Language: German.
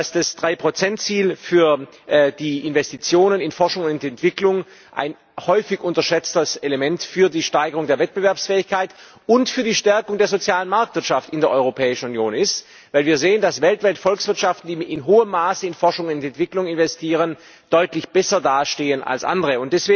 Das Drei Prozent Ziel für die Investitionen in Forschung und Entwicklung ist ein häufig unterschätztes Element für die Steigerung der Wettbewerbsfähigkeit und für die Stärkung der sozialen Marktwirtschaft in der Europäischen Union, weil wir sehen, dass weltweit Volkswirtschaften, die in hohem Maße in Forschung und Entwicklung investieren, deutlich besser dastehen als andere.